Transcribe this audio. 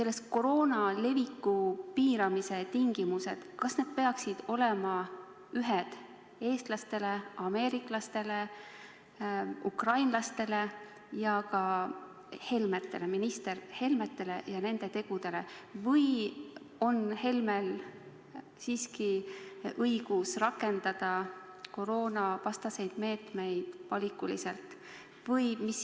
Kas koroona leviku piiramise tingimused peaksid olema ühesugused eestlastele, ameeriklastele, ukrainlastele ja ka Helmetele, nende tegudele, või on minister Helmel õigus rakendada koroonavastaseid meetmeid valikuliselt?